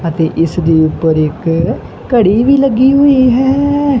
ਅਤੇ ਇਸ ਦੇ ਉੱਪਰ ਇੱਕ ਘੜੀ ਵੀ ਲੱਗੀ ਹੋਈ ਹੈ।